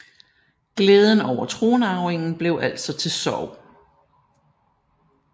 Glæden over tronarvingen blev altså til sorg